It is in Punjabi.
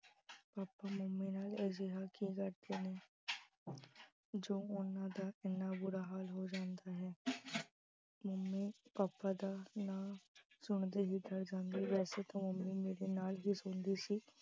papa mummy ਨਾਲ ਅਜਿਹਾ ਕੀ ਕਰਦੇ ਨੇ ਜੋ ਉਹਨਾਂ ਦਾ ਐਨਾ ਬੁਰਾ ਹਾਲ ਹੋ ਜਾਂਦਾ ਹੈ mummy papa ਦਾ ਨਾਂ ਸੁਣਦੇ ਹੀ ਡਰ ਜਾਂਦੀ ਵੈਸੇ ਤਾਂ mummy ਮੇਰੇ ਨਾਲ ਹੀ ਸੌਂਦੀ ਸੀ।